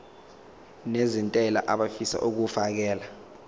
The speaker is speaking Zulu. nezentela abafisa uukfakela